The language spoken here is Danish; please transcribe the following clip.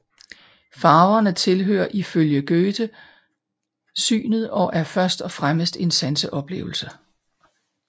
Farverne tilhører ifølge Goethe synet og er først og fremmest en sanseoplevelse